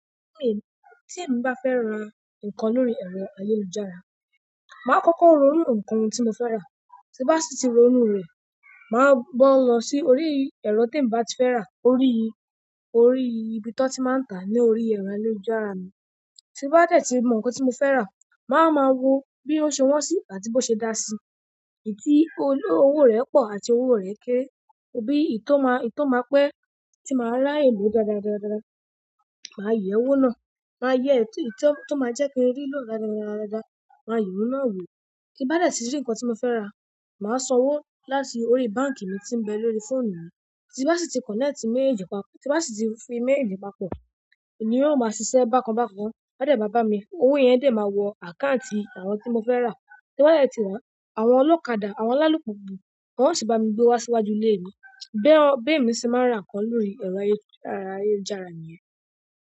Tí èmi bá fẹ́ ra nǹkan lórí ẹ̀rọ ayélujára, màá kọ́kọ́ ronú nǹkan tí mo fẹ́ rà. Tí bá sì ti ronú rẹ̀, màá bo lọ sí orí ẹ̀rọ tí e mi bá ti fẹ́ rà. Orí, orí ibi tí wọ́n ti máa ń tàá ní orí ẹ̀rọ ayélujára mi. Tí bá dẹ̀ ti mọ nǹkan tí mo fẹ́ rà, màá wa ma wo bí ó ṣe wọ́n sí i àti bó ṣe dá sí i. N ti owo re po àti owo re kere bí i tó máa, i tó máa pẹ́ tí màá rà ye lo dáadáa-daadaa, màá yẹ̀ wo náà. Màá yẹ ètí tí ó máa jẹ́ kí n rí ìlò dáadáa-daadaa, màá ye ohun náà wò. Ti n bá dẹ̀ ti rí nǹkan tí mo fẹ́ rà, màá sanwó láti orí báǹkì mi tí ń bẹ lórí fóònù mi. Tí bá sì ti kọ̀nẹ́ẹ̀tì méèjeji papọ̀, tí bá sì ti fi méèjeji papọ̀, ni ó máa ṣiṣẹ́ bákan bákan. Won dẹ̀ ma ba mi, owó yẹn dẹ̀ máa wọ àkáǹtì àwọn tí mo fẹ́ rà. Tí n ba dẹ̀ ti ra, àwọn olókadà, àwọn alálùpùpù, wọ́n ó sì bá mi gbé wá síwájú ilé mi. Bẹ́ẹ̀ mi sì máa ń rà nǹkan lórí ẹ̀rọ ayélujára niyẹn.